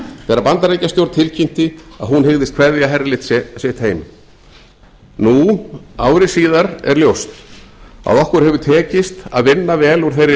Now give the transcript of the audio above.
þegar bandaríkjastjórn tilkynnti að hún hygðist kveðja herlið sitt heim nú ári síðar er ljóst að okkur hefur tekist að vinna vel úr þeirri